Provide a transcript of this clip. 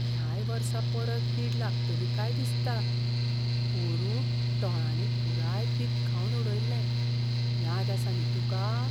ह्याय वर्सा परत कीड लागतली काय दिसता. पोरूं टोळांनी पुराय पीक खावन उडयल्लें याद आसा न्ही तुका?